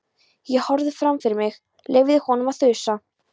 Ég horfði fram fyrir mig, leyfði honum að þusa.